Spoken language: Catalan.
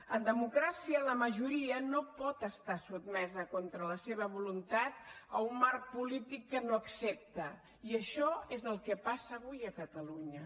en democràcia la majoria no pot estar sotmesa contra la seva voluntat a un marc polític que no accepta i això és el que passa avui a catalunya